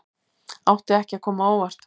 Átti ekki að koma á óvart